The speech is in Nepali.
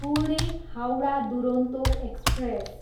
पुणे, हाउडा दुरोन्तो एक्सप्रेस